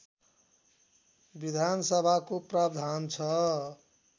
विधानसभाको प्रावधान छ